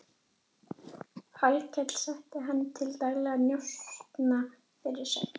Hallkel setti hann til daglegra njósna fyrir sig.